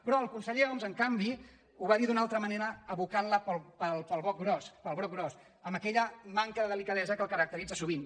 però el conseller homs en canvi ho va dir d’una altra manera abocant·la pel broc gros amb aquella manca de delicadesa que el caracteritza sovint